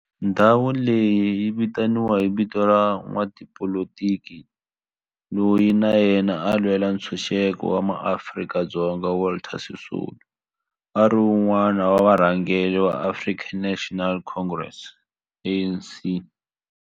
Ndhawo leyi yi vitaniwa hi vito ra n'watipolitiki loyi na yena a lwela ntshuxeko wa maAfrika-Dzonga Walter Sisulu, a ri wun'wana wa varhangeri va African National Congress, ANC.